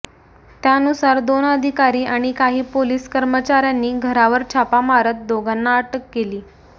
त्यानुसार दोन अधिकारी आणि काही पोलीस कर्मचाऱ्यांनी घरावर छापा मारत दोघांना अटक केली